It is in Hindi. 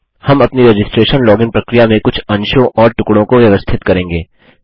हम अपनी रजिस्ट्रेशन लॉगिन प्रक्रिया में कुछ अंशों और टुकड़ों को व्यवस्थित करेंगे